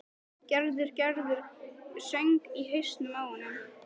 Gerður, Gerður söng í hausnum á honum.